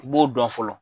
I b'o dɔn fɔlɔ